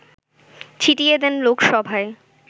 ছিটিয়ে দেন লোকসভায়